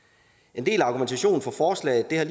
en del af argumentationen for forslaget har